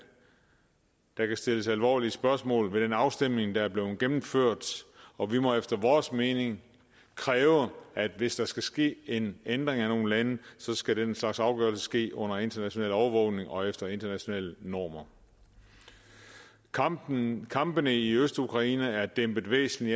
der kan stilles alvorlige spørgsmål ved den afstemning der er blevet gennemført og vi må efter vores mening kræve at hvis der skal ske en ændring af nogle lande skal den slags afgørelser ske under international overvågning og efter internationale normer kampene kampene i østukraine er dæmpet væsentlig